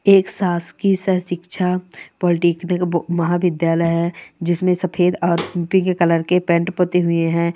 एक सास की सह शिक्षा दिखने को महा विध्यालय है। जिसमे सफेद और पीले कलर कि पेन पुती हुई है ।